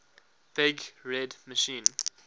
big red machine